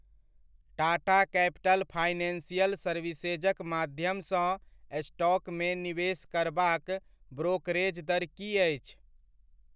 Tata capital financial सर्विसेजक माध्यमसँ स्टॉकमे निवेश करबाक ब्रोकरेज दर कि अछि?